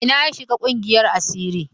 A ina ya shiga ƙungiyar asiri?